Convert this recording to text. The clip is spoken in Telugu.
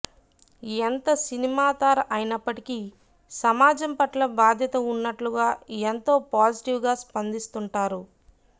ఎంత సినిమా తారా అయినప్పటికీ సమాజం పట్ల బాధ్యత ఉన్నట్లుగా ఎంతో పాజిటివ్ గా స్పందిస్తుంటారు